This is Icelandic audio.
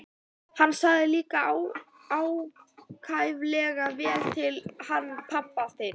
Hann sagði líka ákaflega vel til hann pabbi þinn.